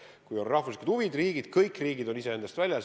Kui on riikide huvid mängus, siis kõik riigid on iseenda eest väljas.